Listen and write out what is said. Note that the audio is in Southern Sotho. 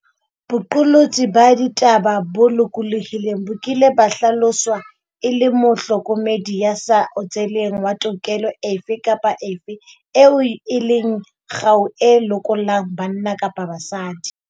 Boqolotsi ba ditaba bo lokolohileng bo kile ba hlaloswa e le mohlokomedi ya sa otseleng wa tokelo efe kapa efe eo e leng kgau e lokollang banna kapa basadi.